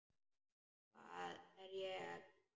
Hvað er ég að gera?